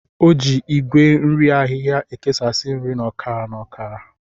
O ji Igwe nri ahịhịa ekesasị nri na ọkara na ọkara.